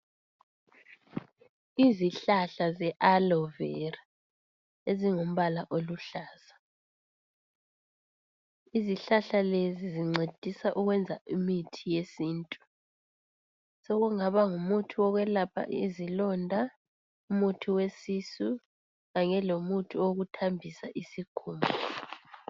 Izihlahla ze alovera ezingumbala oluhlaza. Izihlahla lezi zincedisa ukwenza imithi yesintu. Sokungaba ngumuthi wokwelapha izilonda, umuthi wesisu kanye lomuthi okuthambisa isikhumba.